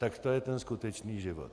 Tak to je ten skutečný život.